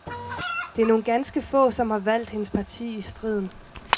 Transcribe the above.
Der er nogle ganske få, som har valgt hendes parti i striden.